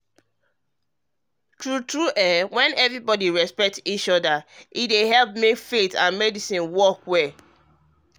um true true when everybody respect each everybody respect each other um e dey help make faith and medicine work well um together.